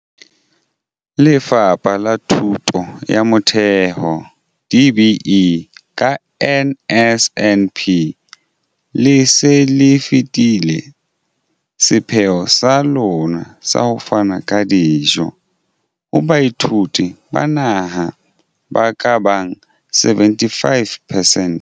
Lefapha la Thuto ya Motheo, DBE, ka NSNP, le se le fetile sepheo sa lona sa ho fana ka dijo ho baithuti ba naha ba ka bang 75 percent.